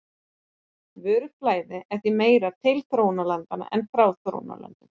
Vöruflæði er því meira til þróunarlanda en frá þróunarlöndum.